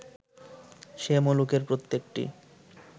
সে-মুলুকের প্রত্যেকটি